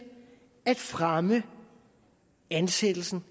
at fremme ansættelsen